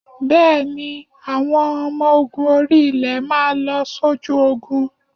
Bẹ́ẹ̀ni, àwọn ọmọ orí-ilẹ̀ máa lọ sójú Ogun?